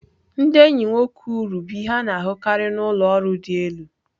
Ndị enyi nwere uru bụ ihe a na-ahụkarị na ụlọ ọrụ dị elu.